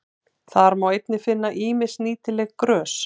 Þá má einnig finna ýmis nýtileg grös.